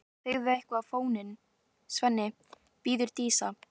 Settu eitthvað á fóninn, Svenni, biður Dísa.